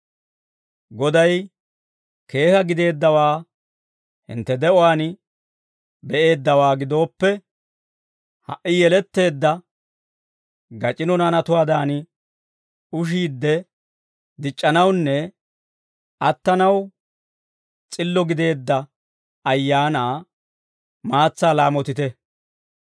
Goday keeka gideeddawaa hintte de'uwaan be'eeddawaa gidooppe, ha"i yeletteedda gac'ino naanatuwaadan, ushiidde dic'c'anawunne attanaw s'illo gideedda ayaanaa maatsaa laamotite.